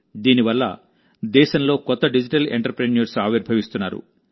దీని వల్ల దేశంలో కొత్త డిజిటల్ ఎంటర్ప్రెన్యూర్స్ ఆవిర్భవిస్తున్నారు